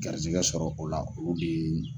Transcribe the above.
Garisigɛ sɔrɔ o la, olu de yeee n.